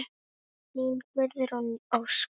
Þín, Guðrún Ósk.